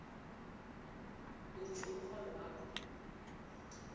utjho umrholo wakho